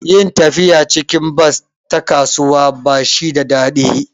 Yin tafiya cikin bas ta kasuwa ba shi da daɗi